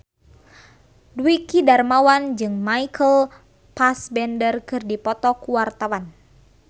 Dwiki Darmawan jeung Michael Fassbender keur dipoto ku wartawan